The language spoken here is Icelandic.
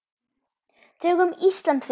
Tökum Ísland fyrst.